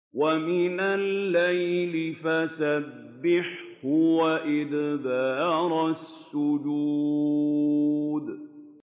وَمِنَ اللَّيْلِ فَسَبِّحْهُ وَأَدْبَارَ السُّجُودِ